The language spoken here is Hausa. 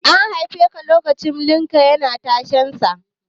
An haifeka lokacin da Limca yana tashensa?